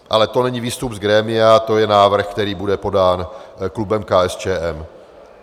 Ale to není výstup z grémia, to je návrh, který bude podán klubem KSČM.